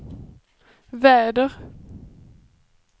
väder